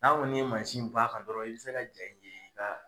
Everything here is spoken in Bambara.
N'a kɔni ye bɔ a kan, i bi se ka dɔrɔn i bɛ se ka ja ye i ka